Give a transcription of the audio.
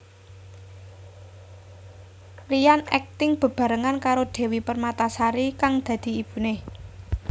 Ryan akting bebarengan karo Devi Permatasari kang dadi ibune